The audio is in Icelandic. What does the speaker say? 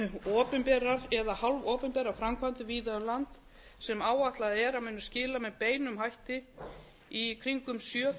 opinberar eða hálfopinberar framkvæmdir víða um land sem áætlað er að munu skila með beinum hætti í kringum sjö